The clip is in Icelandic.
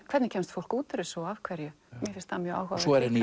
hvernig kemst fólk út úr þessu og af hverju mér finnst það mjög áhugavert henni